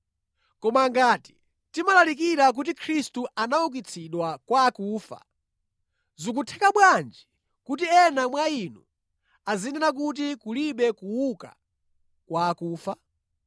Koma ngati timalalikira kuti Khristu anaukitsidwa kwa akufa, zikutheka bwanji kuti ena mwa inu azinena kuti kulibe kuuka kwa akufa?